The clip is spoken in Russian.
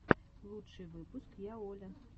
лучший выпуск я оля